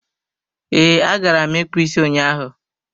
Ee, agara m ịkpụ isi ụnyaahụ.